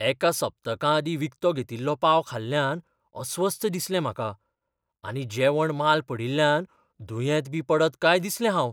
एका सप्तका आदीं विकतो घेतिल्लो पाव खाल्ल्यान अस्वस्थ दिसलें म्हाका आनी जेवण माल पडील्ल्यान दुयेंत बी पडत काय दिसलें हांव.